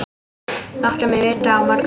Láttu mig vita á morgun.